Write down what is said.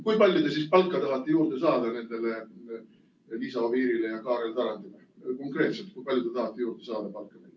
Kui palju te siis palka tahate juurde saada nendele Liisa Oviirile ja Kaarel Tarandile, konkreetselt, kui palju te tahate palka juurde saada neile?